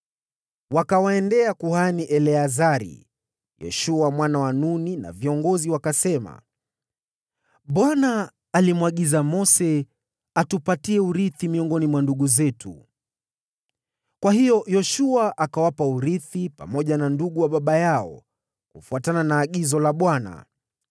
Wakamwendea kuhani Eleazari, Yoshua mwana wa Nuni, na viongozi, wakasema: “ Bwana alimwagiza Mose atupatie urithi miongoni mwa ndugu zetu.” Kwa hiyo Yoshua akawapa urithi pamoja na ndugu wa baba yao, kufuatana na agizo la Bwana .